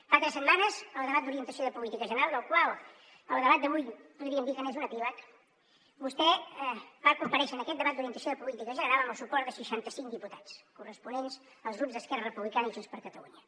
fa tres setmanes al debat d’orientació de política general del qual el debat d’avui podríem dir que n’és un epíleg vostè va comparèixer en aquest debat d’orientació de política general amb el suport de seixanta cinc diputats corresponents als grups d’esquerra republicana i junts per catalunya